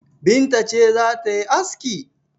Binta ce za ta yi aski?